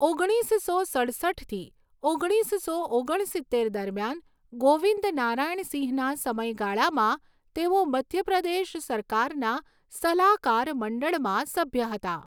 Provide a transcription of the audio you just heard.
ઓગણીસસો સડસઠથી ઓગણીસસો ઓગણસિત્તેર દરમિયાન ગોવિંદ નારાયણ સિંહના સમયગાળામાં તેઓ મધ્ય પ્રદેશ સરકારના સલાહકાર મંડળમાં સભ્ય હતા.